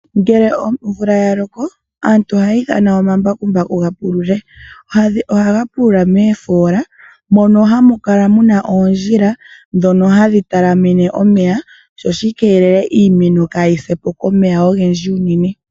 Ngele omvula yaloko aantu ohaya ithana omambakumbaku gapulule. Ohaga pulula moofoola moka hamu kala muna oondhila ndhono talamene omeya. Shika ohashi keelele iimeno kaayi sepo komeya ogendji unene.